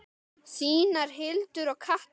Þínar Hildur og Katla.